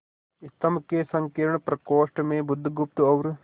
स्तंभ के संकीर्ण प्रकोष्ठ में बुधगुप्त और